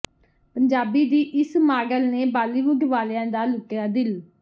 ਪੰਜਾਬੀ ਦੀ ਇਸ ਮਾਡਲ ਨੇ ਬਾਲੀਵੁੱਡ ਵਾਲਿਆਂ ਦਾ ਲੁੱਟਿਆ ਦਿਲ